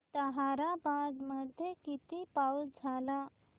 ताहराबाद मध्ये किती पाऊस झाला